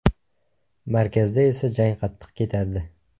Markazda esa jang qattiq ketardi.